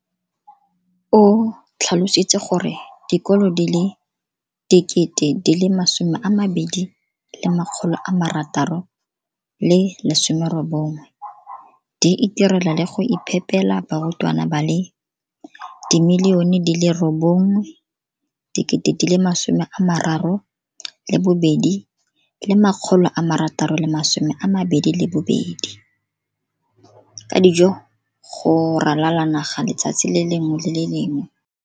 O tlhalositse gore dikolo di le 20 619 di itirela le go iphepela barutwana ba le 9 032 622 ka dijo go ralala naga letsatsi le lengwe le le lengwe.